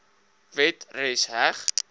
wet res heg